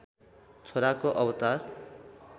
छोराको अवतार